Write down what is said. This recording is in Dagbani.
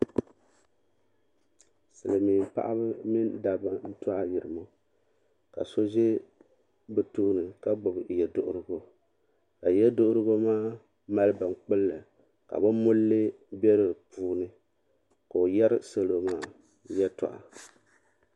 Silimiin dabba mini paɣaba n to ayirimo ka so za bɛ tooni ka gbibi yeduhurigu ka yeduhurigu mali bin gbilli ka bini mulli be di puuni ka o yeri salo maa yɛltɔɣa.